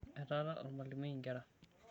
Etaara olamalimui inkera.